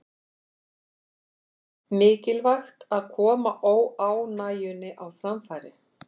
Mikilvægt að koma óánægjunni á framfæri